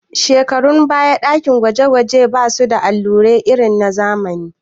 A shekarun baya ɗakin gwaje gwaje ba su da na'ura irin na zamani